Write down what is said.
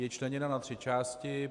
Je členěna na tři části.